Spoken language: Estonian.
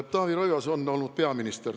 Taavi Rõivas on olnud peaminister.